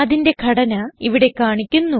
അതിന്റെ ഘടന ഇവിടെ കാണിക്കുന്നു